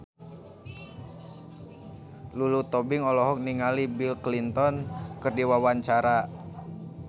Lulu Tobing olohok ningali Bill Clinton keur diwawancara